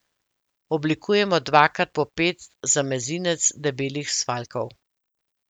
Oblikujemo dvakrat po pet za mezinec debelih svaljkov.